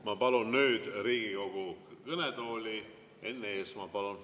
Ma palun nüüd Riigikogu kõnetooli Enn Eesmaa.